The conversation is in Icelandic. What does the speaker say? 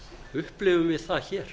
upplifum við það hér